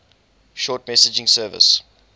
short message service